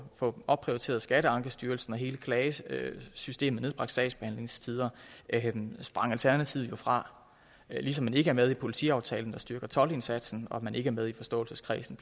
opprioriteret skatteankestyrelsen og hele klagesystemet og nedbragt sagsbehandlingstider sprang alternativet fra ligesom man ikke er med i politiaftalen der styrker toldindsatsen og ikke er med i forståelseskredsen